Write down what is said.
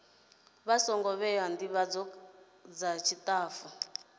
songo vhewa ndivhadzo dza tshitafu